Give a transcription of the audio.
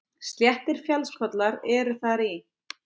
Sléttir fjallskollar eru þar í